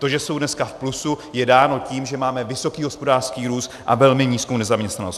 To, že jsou dneska v plusu, je dáno tím, že máme vysoký hospodářský růst a velmi nízkou nezaměstnanost.